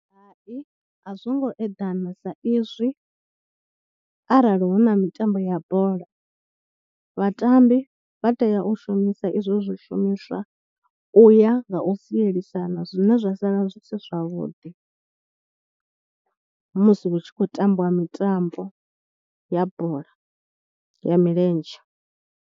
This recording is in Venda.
Hai a zwo ngo eḓana sa izwi arali hu na mitambo ya bola, vhatambi vha tea u shumisa izwo zwo shumiswa u ya nga u sielisana zwine zwa sala zwi si zwavhuḓi musi hu tshi khou tambiwa mitambo ya bola ya milenzhe.